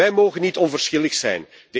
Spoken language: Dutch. Wij mogen niet onverschillig zijn.